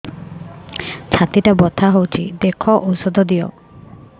ଛାତି ଟା ବଥା ହଉଚି ଦେଖ ଔଷଧ ଦିଅ